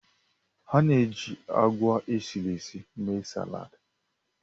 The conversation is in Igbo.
A na-eji agwa esiri ési émee saladi